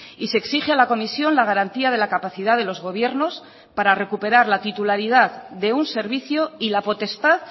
y se exige a la comisión la garantía de la capacidad de los gobiernos para recuperar la titularidad de un servicio y la potestad